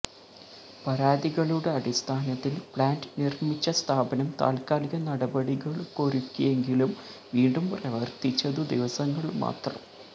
പരാതികളുടെ അടിസ്ഥാനത്തില് പ്ലാന്റ് നിര്മിച്ച സ്ഥാപനം താല്ക്കാലിക നടപടികളൊരുക്കിയെങ്കിലും വീണ്ടും പ്രവര്ത്തിച്ചതു ദിവസങ്ങള് മാത്രം